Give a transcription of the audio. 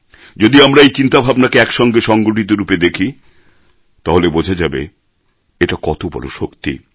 যদি আমরা এই চিন্তাভাবনাকে একসঙ্গে সংগঠিতরূপে দেখি তাহলে বোঝা যাবে এটা কত বড় শক্তি